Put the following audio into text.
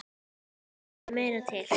Það þurfti meira til.